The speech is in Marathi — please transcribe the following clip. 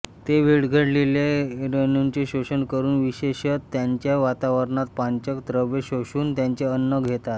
ते विरघळलेल्या रेणूंचे शोषण करून विशेषत त्यांच्या वातावरणात पाचक द्रव्य शोषून त्यांचे अन्न घेतात